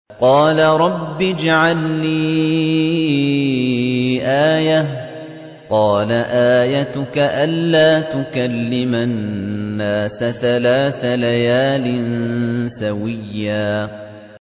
قَالَ رَبِّ اجْعَل لِّي آيَةً ۚ قَالَ آيَتُكَ أَلَّا تُكَلِّمَ النَّاسَ ثَلَاثَ لَيَالٍ سَوِيًّا